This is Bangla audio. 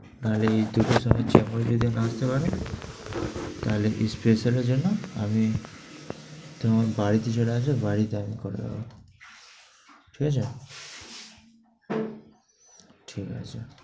তাইলে এই দুটো সময় যেকোনো দিন আসতে পারবে। তাইলে dispenser এর জন্য আমি তুমি আমার বাড়িতে চলে আসো, বাড়িতে আমি করে দিবো। ঠিক আছে? ঠিক আছে।